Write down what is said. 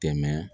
Tɛmɛ